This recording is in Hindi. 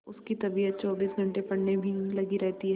उसकी तबीयत चौबीस घंटे पढ़ने में ही लगी रहती है